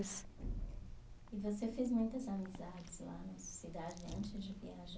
E você fez muitas amizades lá na sua cidade antes de viajar?